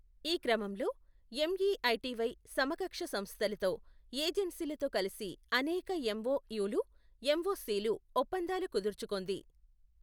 ఈ క్రమంలో, ఎమ్ఇఐటివై సమకక్ష సంస్థలతో, ఏజెన్సీలతో కలసి అనేక ఎంఒయులు ఎంఒసిలు ఒప్పందాలు కుదుర్చుకొంది.